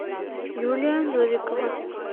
юлия новикова